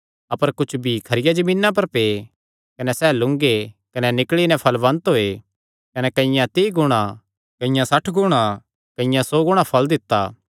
अपर कुच्छ बीई खरिया जमीना पर पै कने सैह़ लूंगे कने निकल़ी नैं फल़वन्त होये कने कईआं तीई गुणा कईआं सठ गुणा कईआं सौ गुणा फल़ दित्ता